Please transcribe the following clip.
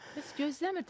Bəs gözləmirdiz?